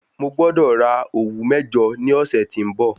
Mo gbọ́dọ̀ ra òwú mẹ́jọ ní ọ̀sẹ̀ tí ń bọ̀.